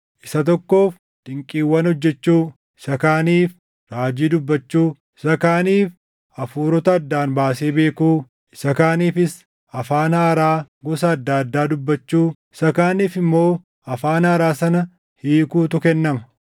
isa tokkoof dinqiiwwan hojjechuu, isa kaaniif raajii dubbachuu, isa kaaniif hafuurota addaan baasee beekuu, isa kaaniifis afaan haaraa gosa adda addaa dubbachuu, isa kaaniif immoo afaan haaraa sana hiikuutu kennama.